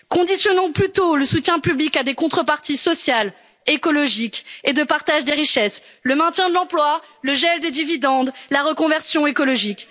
passées. Conditionnons plutôt le soutien public à des contreparties sociales, écologiques, de partage des richesses, de maintien de l'emploi, de gel des dividendes ou de reconversion écologique.